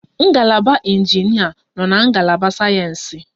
Ngalaba injinịa nọ na ngalaba sayensị